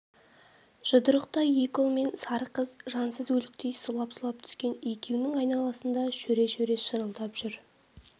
жұдырықтай екі ұл мен сары қыз жансыз өліктей сұлап-сұлап түскен екеуінің айналасында шөре-шөре шырылдап жүр